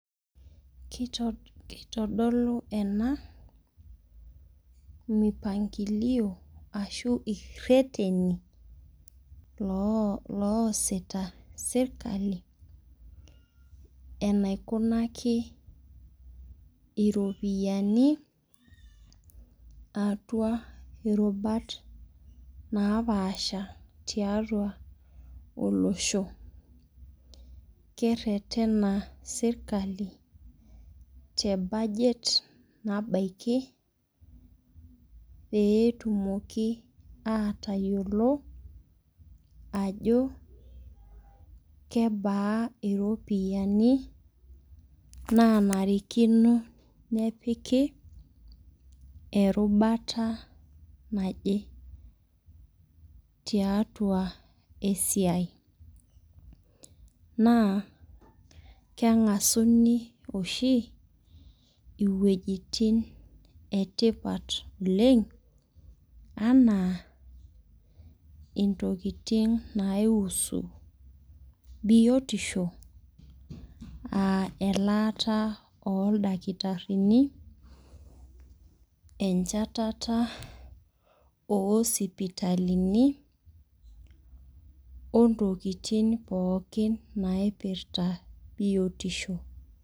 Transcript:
Kitodolu ena mipangilio ashu ireteni loosita serikali enaikunaki iropiani atua irubata napaasha tiatua olosho. Keretena serikali te budget nabaki pee etumoki atayiolo ajo kebaa iropiani naanarikino nepika erubata naje tiatua esiai. Naa kengasuni oshi iwejitin etipat oleng ena intokitin nai husu biotisho enaa elata oo ildakitarini enchatata oo sipitalini oo ntokitin pookin naipirta biotisho.